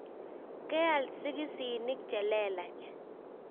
Keal soksinik che lelach